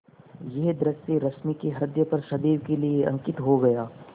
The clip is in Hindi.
यह दृश्य रश्मि के ह्रदय पर सदैव के लिए अंकित हो गया